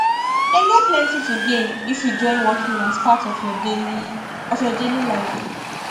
them get plenty to gain if you join walking as part of your daily of your daily life